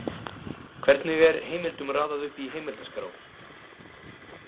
„Hvernig er heimildum raðað upp í heimildaskrá?“